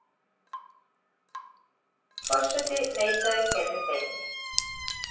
Forseti neitaði þeirri beiðni.